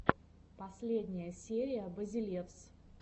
последняя серия базелевс